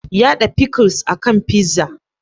Yada pickles a kan pizza.